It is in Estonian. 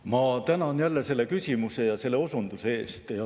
Ma tänan selle küsimuse ja selle osunduse eest.